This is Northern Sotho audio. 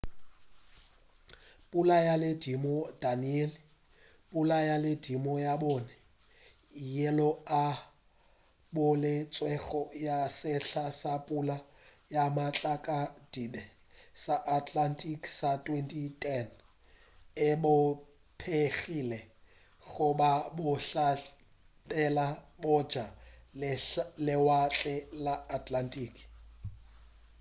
pula ya ledimo danielle pula ya ledimo la bone yeo e boletšwego ya sehla sa pula ya matlakadibe sa atlantic sa 2010 e bopegile go la bohlabela bja lewatle la atlantic